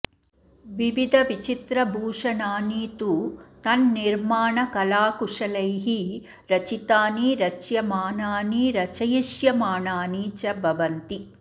विविधविचित्रभूषणानि तु तन्निर्माणकलाकुशलैः रचितानि रच्यमानानि रचयिष्यमाणानि च भवन्ति